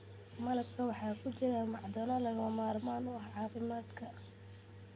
Malabka waxaa ku jira macdano lagama maarmaan u ah caafimaadka.